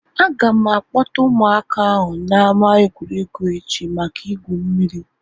Aga m a kpọta ụmụaka ahụ na ama egwuregwu echi maka igwu mmiri